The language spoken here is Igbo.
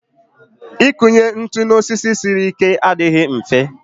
Ịkụnye ntụ n'osisi siri ike adịghị mfe